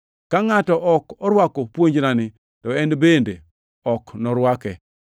Ka ngʼato ok orwako puonjnani, to en bende ok norwake.